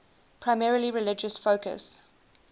primarily religious focus